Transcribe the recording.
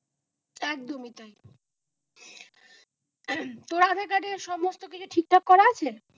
একদম ই তাই তোর আধার কার্ড এর সমস্ত কিছু ঠিকঠাক করা আছে?